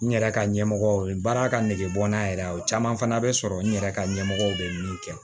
N yɛrɛ ka ɲɛmɔgɔ ye baara ka nege bɔ n'a yɛrɛ ye o caman fana bɛ sɔrɔ n yɛrɛ ka ɲɛmɔgɔ bɛ min kɛ